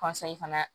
fana